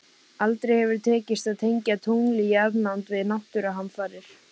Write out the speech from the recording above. Aldrei hefur tekist að tengja tungl í jarðnánd við náttúruhamfarir.